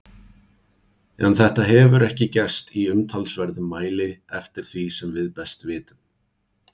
En þetta hefur ekki gerst í umtalsverðum mæli eftir því sem við best vitum.